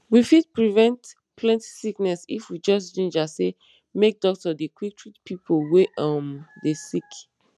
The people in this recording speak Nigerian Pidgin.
we fit prevent plenty sickness if we just ginger say make doctor dey quick treat pipo wey um dey sick